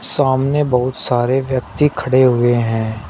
सामने बहुत सारे व्यक्ति खड़े हुए हैं।